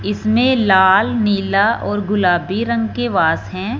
इसमें लाल नीला और गुलाबी रंग के वास हैं।